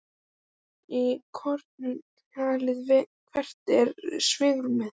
Lóa: Í krónum talið, hvert er svigrúmið?